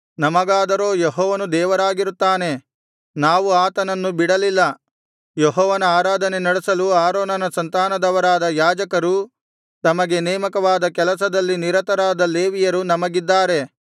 ನಮಗಾದರೋ ಯೆಹೋವನು ದೇವರಾಗಿರುತ್ತಾನೆ ನಾವು ಆತನನ್ನು ಬಿಡಲಿಲ್ಲ ಯೆಹೋವನ ಆರಾಧನೆ ನಡೆಸಲು ಆರೋನನ ಸಂತಾನದವರಾದ ಯಾಜಕರೂ ತಮಗೆ ನೇಮಕವಾದ ಕೆಲಸದಲ್ಲಿ ನಿರತರಾದ ಲೇವಿಯರೂ ನಮಗಿದ್ದಾರೆ